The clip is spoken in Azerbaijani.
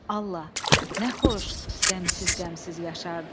Allah, nə xoş qəmsiz-qəmsiz yaşardıq.